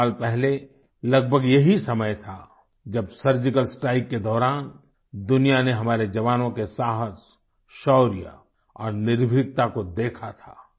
चार साल पहले लगभग यही समय था जब सर्जिकल स्ट्राइक के दौरान दुनिया ने हमारे जवानों के साहस शौर्य और निर्भीकता को देखा था